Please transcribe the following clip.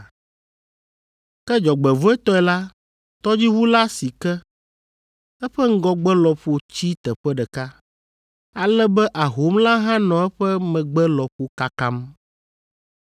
Ke dzɔgbevɔ̃etɔe la, tɔdziʋu la si ke. Eƒe ŋgɔgbe lɔƒo tsi teƒe ɖeka, ale be ahom la hã nɔ eƒe megbe lɔƒo kakam.